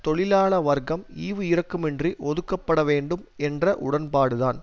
தொழிலாள வர்க்கம் ஈவு இரக்கமின்றி ஒதுக்கப்படவேண்டும் என்ற உடன்பாடுதான்